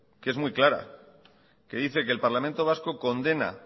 que es muy clara que dice que el parlamento vasco condena